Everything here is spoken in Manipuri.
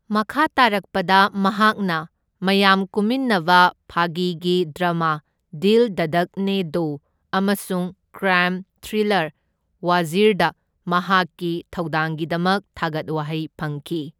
ꯃꯈꯥ ꯇꯔꯛꯄꯗ ꯃꯍꯥꯛꯅ ꯃꯌꯥꯝ ꯀꯨꯝꯃꯤꯟꯅꯕ ꯐꯥꯒꯤꯒꯤ ꯗ꯭ꯔꯃꯥ ꯗꯤꯜ ꯙꯗꯛꯅꯦ ꯗꯣ ꯑꯃꯁꯨꯡ ꯀ꯭ꯔꯥꯏꯝ ꯊ꯭ꯔꯤꯂꯔ ꯋꯥꯖꯤꯔꯗ ꯃꯍꯥꯛꯀꯤ ꯊꯧꯗꯥꯡꯒꯤꯗꯃꯛ ꯊꯥꯒꯠ ꯋꯥꯍꯩ ꯐꯪꯈꯤ꯫